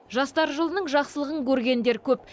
жастар жылының жақсылығын көргендер көп